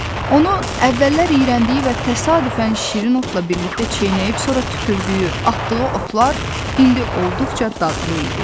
Onun əvvəllər iyrəndiyi və təsadüfən şirin otla birlikdə çeynəyib, sonra tüpürdüyü, atdığı otlar indi olduqca dadlı idi.